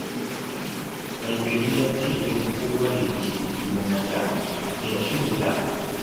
Mai gari ya ce yau kowa ya je gonarsa a taya shi huda